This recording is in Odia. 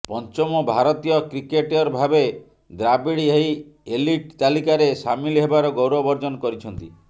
ପଞ୍ଚମ ଭାରତୀୟ କ୍ରିକେଟରଭାବେ ଦ୍ରାଭିଡ୍ ଏହି ଏଲିଟ୍ ତାଲିକାରେ ସାମିଲ ହେବାର ଗୌରବ ଅର୍ଜନ କରିଛନ୍ତି